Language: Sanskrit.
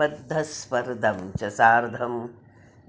बद्धस्पर्धं च सार्धं